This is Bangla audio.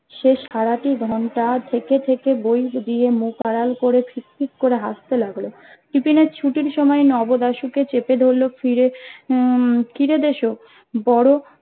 সে সারাটি ঘন্টা থেকে থেকে বই দিয়ে মুখ আড়াল করে ফিক ফিক করে হাসতে লাগলো টিফিনের ছুটির সময়ে নব দাশুকে চেপে ধরলো ফিরে হম কিরে দেসো বড়ো